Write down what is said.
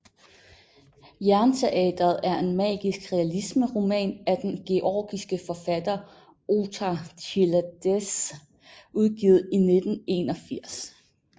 Jernteatret er en Magisk realisme roman af den georgiske forfatter Otar Chiladze udgivet i 1981